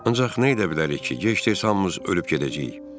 Ancaq nə edə bilərik ki, gec-tez hamımız ölüb gedəcəyik.